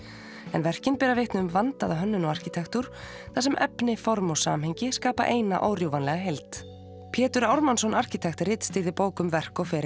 en verkin bera vitni um vandaða hönnun og arkitektúr þar sem efni form og samhengi skapa eina órjúfanlega heild Pétur Ármannsson arkitekt ritstýrði bók um verk og feril